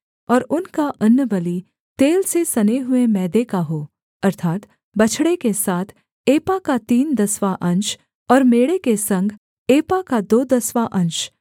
और उनका अन्नबलि तेल से सने हुए मैदे का हो अर्थात् बछड़े के साथ एपा का तीन दसवाँ अंश और मेढ़े के संग एपा का दो दसवाँ अंश